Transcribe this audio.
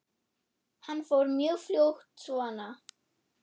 Hann fór mjög fljótt svona.